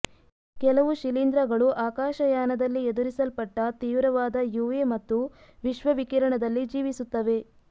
ಕೆಲವು ಶಿಲೀಂಧ್ರಗಳು ಆಕಾಶ ಯಾನದಲ್ಲಿ ಎದುರಿಸಲ್ಪಟ್ಟ ತೀವ್ರವಾದ ಯುವಿ ಮತ್ತು ವಿಶ್ವ ವಿಕಿರಣದಲ್ಲಿ ಜೀವಿಸುತ್ತವೆ